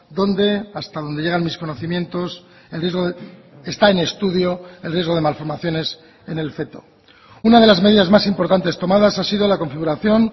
donde hasta donde llegan mis conocimientos el riesgo está en estudio el riesgo de malformaciones en el feto una de las medidas más importantes tomadas ha sido la configuración